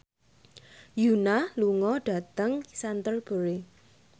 Yoona lunga dhateng Canterbury